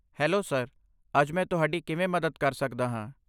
Hello sir. ਅੱਜ ਮੈਂ ਤੁਹਾਡੀ ਕਿਵੇਂ ਮਦਦ ਕਰ ਸਕਦਾ ਹਾਂ?